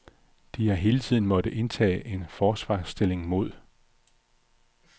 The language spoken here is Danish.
De har hele tiden måttet indtage en forsvarsstilling mod